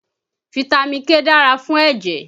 Fitami K dára fún ẹ̀jẹ̀